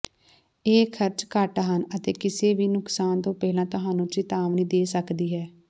ਇਹ ਖਰਚ ਘੱਟ ਹਨ ਅਤੇ ਕਿਸੇ ਵੀ ਨੁਕਸਾਨ ਤੋਂ ਪਹਿਲਾਂ ਤੁਹਾਨੂੰ ਚਿਤਾਵਨੀ ਦੇ ਸਕਦੀ ਹੈ